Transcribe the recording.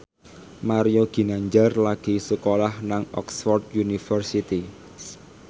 Mario Ginanjar lagi sekolah nang Oxford university